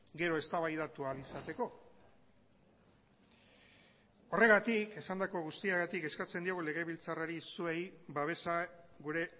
gero eztabaidatu ahal izateko horregatik esandako guztiagatik eskatzen diogu legebiltzarrari zuei babesa gure